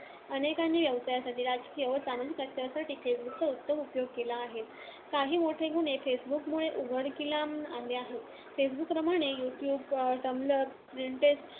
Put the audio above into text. अनेकांनी व्यवसायासाठी, राजकौय व सामाजिक प्रचारासाठी फेसबुकचा उत्तम उपयोग केला आहे. काही मोठे गुन्हे फेसबुकमुळे उघडकीला आले आहेत. फेसबुकप्रमाणे, यु-ट्यूब, टम्बलर, पिंट्रेस्ट,